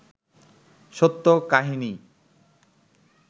সত্য কাহিনী